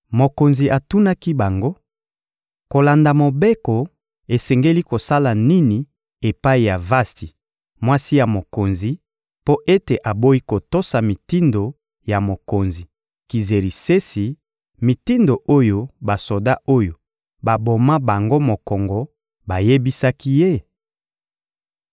Mokonzi atunaki bango: — Kolanda mobeko, esengi kosala nini epai ya Vasti, mwasi ya mokonzi, mpo ete aboyi kotosa mitindo ya mokonzi Kizerisesi, mitindo oyo basoda oyo baboma bango mokongo bayebisaki ye?